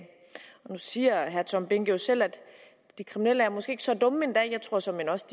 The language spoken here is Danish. nu siger herre tom behnke jo selv at de kriminelle måske ikke er så dumme endda og jeg tror såmænd også